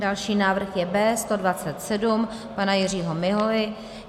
Další návrh je B127 pana Jiřího Miholy.